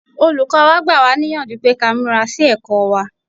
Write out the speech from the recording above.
Olùkọ́ wa gbà wá níyànjú pé ká múra sí ẹ̀kọ́ wá.